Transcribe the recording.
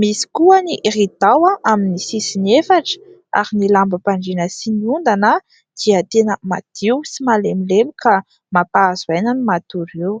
misy koa ny ridao amin'ny sisiny efatra. Ary ny lamba-pandrina sy ny ondana, dia tena madio sy malemilemy ; ka mampahazo aina ny matory eo.